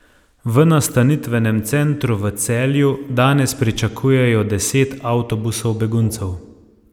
V nastanitvenem centru v Celju danes pričakujejo deset avtobusov beguncev.